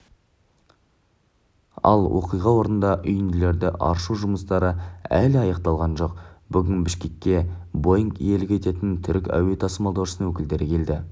ал оқиға орнында үйінділерді аршу жұмыстары әлі аяқталған жоқ бүгін бішкекке боинг иелік ететін түрік әуе тасымалдаушысының өкілдері келді